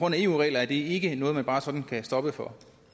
af eu regler er det ikke noget man bare sådan kan stoppe for